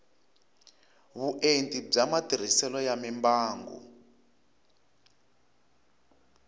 vuenti bya matirhiselo ya mimbangu